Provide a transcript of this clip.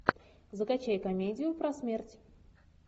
закачай комедию про смерть